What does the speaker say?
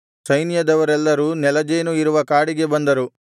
ಸೈನ್ಯದವರೆಲ್ಲರೂ ನೆಲಜೇನು ಇರುವ ಕಾಡಿಗೆ ಬಂದರು